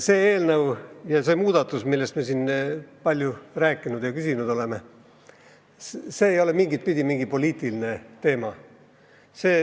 See eelnõu ja see muudatus, millest me siin palju rääkinud oleme ja selle kohta ka küsinud, ei ole mingitpidi poliitiline teema.